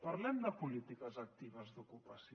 parlem de polítiques actives d’ocupació